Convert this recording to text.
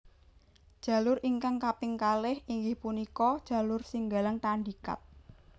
Jalur ingkang kaping kalih inggih punika jalur Singgalang Tandikat